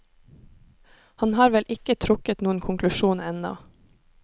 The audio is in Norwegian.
Han har vel ikke trukket noen konklusjon ennå.